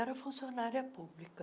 Era funcionária pública.